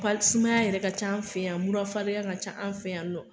Pali sumaya yɛrɛ ka c'an fɛ yan murafarigan ka ca an fɛ yan nɔ